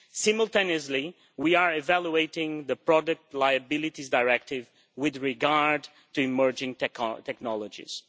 Simultaneously, we are evaluating the Product Liabilities Directive with regard to emerging technologies.